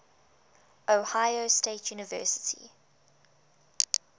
ohio state university